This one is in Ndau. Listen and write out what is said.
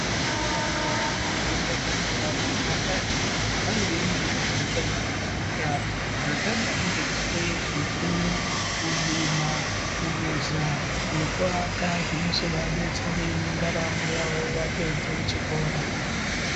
Majaha vanofunde pazvikora zvepakati ,vane zvimweniyo zvavanofunda zvakadai ngekufuya zvifuyo ,kurima ,kuveza nekuaka zvinozoadetsere mundaramo yavo vapedze chikora.